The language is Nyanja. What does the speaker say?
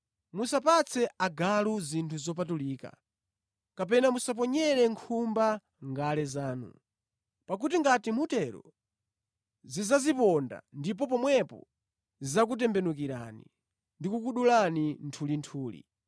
“Musapatse agalu zinthu zopatulika; kapena musaponyere nkhumba ngale zanu. Pakuti ngati mutero, zidzaziponda ndipo pomwepo zidzakutembenukirani ndi kukudulani nthulinthuli.